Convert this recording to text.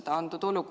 Liina Kersna, palun!